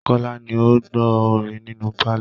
Kọ́lá ni ó ń gbọ́ orin nínù pálọ̀